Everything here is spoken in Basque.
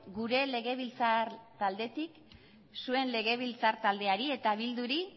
gure legebiltzar taldetik zuen legebiltzar taldeari eta bilduri